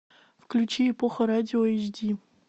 включи эпоха радио эйч ди